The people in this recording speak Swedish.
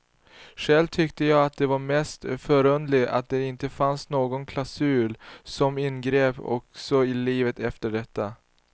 Själv tyckte jag att det var mest förunderligt att det inte fanns någon klausul som inbegrep också livet efter detta.